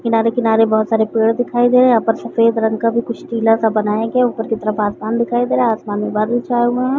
किनारे - किनारे बहोत सारे पेड़ दिखाई दे रहे है यहाँ पर सफ़ेद रंग का भी कुछ टीला सा बनाया गया है ऊपर की तरफ आसमान दिखाई दे रहा है आसमान में बादल छाए हुए है।